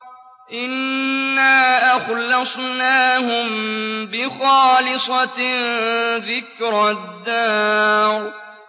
إِنَّا أَخْلَصْنَاهُم بِخَالِصَةٍ ذِكْرَى الدَّارِ